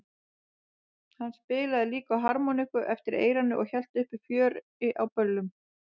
Hann spilaði líka á harmoníku eftir eyranu og hélt uppi fjöri á böllum.